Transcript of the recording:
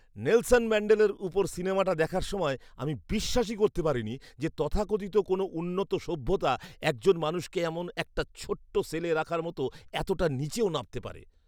Nelson ম্যাণ্ডেলার উপর সিনেমাটা দেখার সময় আমি বিশ্বাসই করতে পারিনি যে তথাকথিত কোনও উন্নত সভ্যতা একজন মানুষকে এমন একটা ছোট্ট সেলে রাখার মতো এতটা নিচেও নামতে পারে!